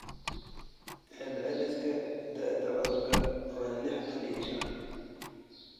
Celceliska da'da cudurka waa lixdan iyo shan.